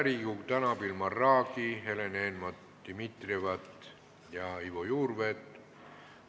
Riigikogu tänab Ilmar Raagi, Helen Eenmaa-Dimitrievat ja Ivo Juurveed.